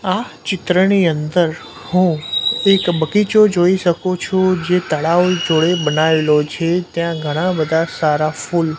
આ ચિત્રની અંદર હું એક બગીચો જોઈ શકુ છું જે તળાવ જોડે બનાવેલો છે ત્યાં ઘણા બધા સારા ફુલ--